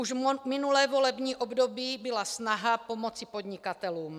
Už minulé volební období byla snaha pomoci podnikatelům.